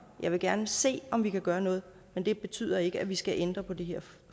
jeg vil gerne se om vi kan gøre noget men det betyder ikke at vi skal ændre på det her